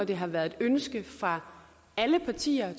det har været et ønske fra alle partier i